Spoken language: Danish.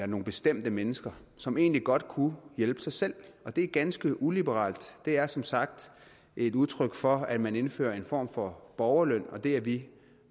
nogle bestemte mennesker som egentlig godt kunne hjælpe sig selv og det er ganske uliberalt det er som sagt et udtryk for at man indfører en form for borgerløn og det er vi